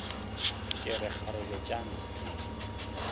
ke re kgarebe tša ntshe